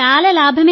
చాలా లాభం ఉంది